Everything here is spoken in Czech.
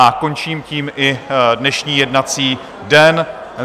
A končím tím i dnešní jednací den.